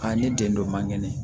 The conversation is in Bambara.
A ne den dɔ man kɛnɛ